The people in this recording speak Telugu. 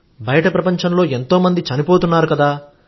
బయట ప్రపంచంలో ఎంతోమంది చనిపోతున్నారు కదా